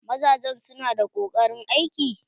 Mazajen su na da koƙarin aiki?